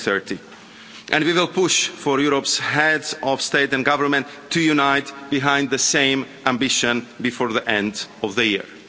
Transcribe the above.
by 2030. And we will push for Europe's heads of state and government to unite behind the same ambition before the end of the year.